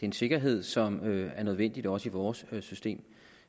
en sikkerhed som er nødvendig også i vores system